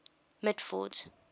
mitford's